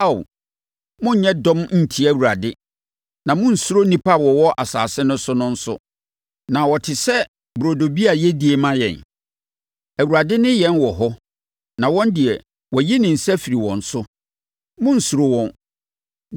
Ao, monnyɛ dɔm ntia Awurade, na monnsuro nnipa a wɔwɔ asase no so no nso. Na wɔte sɛ burodo bi a yɛdie ma yɛn! Awurade ne yɛn wɔ hɔ na wɔn deɛ, wayi ne nsa afiri wɔn so! Monnsuro wɔn!”